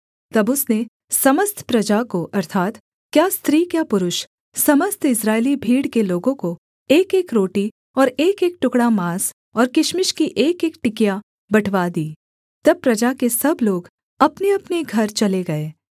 तब उसने समस्त प्रजा को अर्थात् क्या स्त्री क्या पुरुष समस्त इस्राएली भीड़ के लोगों को एकएक रोटी और एकएक टुकड़ा माँस और किशमिश की एकएक टिकिया बँटवा दी तब प्रजा के सब लोग अपनेअपने घर चले गए